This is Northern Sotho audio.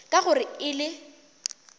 ka gore ge e le